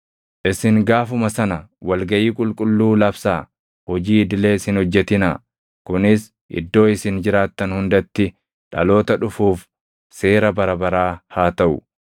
Isin gaafuma sana wal gaʼii qulqulluu labsaa; hojii idilees hin hojjetinaa. Kunis iddoo isin jiraattan hundatti dhaloota dhufuuf seera bara baraa haa taʼu.